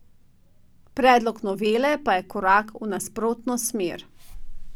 Predlog novele pa je korak v nasprotno smer, opozarjajo.